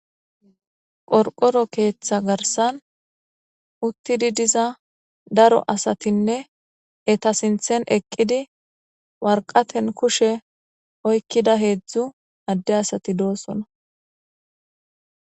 Qorqoro keeththa garsan uttidi diza daro asatinne eta sinthen eqqidi warqaten kushe oykkida heedzdzu adde asati doosona.